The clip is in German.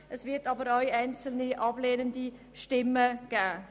Es wird aber auch einzelne ablehnende Stimmen geben.